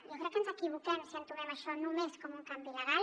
jo crec que ens equivoquem si entomem això només com un canvi legal